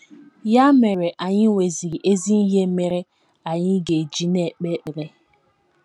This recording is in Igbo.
Ya mere, anyị nweziri ezi ihe mere anyị ga - eji na - ekpe ekpere.